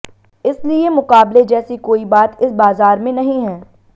इसलिए मुकाबले जैसी कोई बात इस बाजार में नहीं है